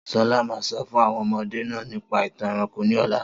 Solá ma sọ fún àwọn ọmọde náà nípa ìtàn ẹranko ní ọ̀la.